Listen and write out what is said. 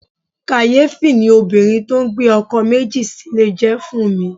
Kàyéfì ni obìnrin tó ń gbé ọkọ̀ méjì sílè jẹ́ fún mi.